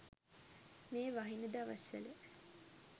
මේ වහින දවස්වල